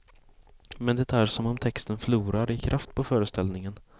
Men det är som om texten förlorar i kraft i föreställningen.